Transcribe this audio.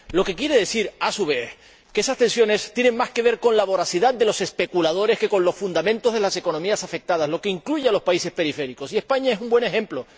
Ello quiere decir a su vez que esas tensiones tienen más que ver con la voracidad de los especuladores que con los fundamentos de las economías afectadas, lo que incluye a los países periféricos, y España es un buen ejemplo.